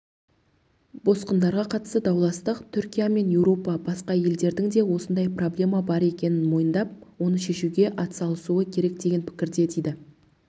босқындарға қатысты дауластық түркия мен еуропа басқа елдердің де осындай проблема бар екенін мойындап оны шешуге атсалысуы керек деген пікірде дейді